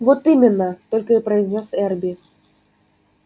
вот именно только и произнёс эрби